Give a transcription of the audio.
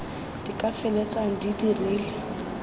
di ka feleltsang di dirile